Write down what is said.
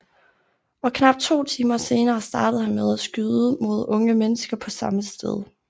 Og knap to timer senere startede han med at skyde mod unge mennesker på samme sted